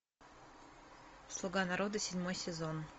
слуга народа седьмой сезон